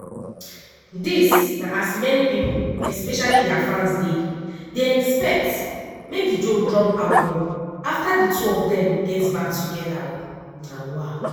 dis na as many pipo especially dia fans dey dey expect make di duo drop albums afta di two of dem get back togeda.